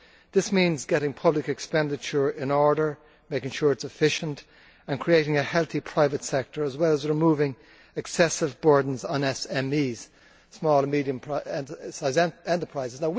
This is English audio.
This means getting public expenditure in order, making sure it is efficient, and creating a healthy private sector as well as removing excessive burdens on SMEs small and medium sized enterprises.